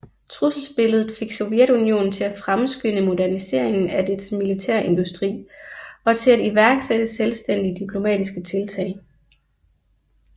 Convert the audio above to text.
Trusselsbilledet fik Sovjetunionen til at fremskynde moderniseringen af dets militærindustri og til at iværksætte selvstændige diplomatiske tiltag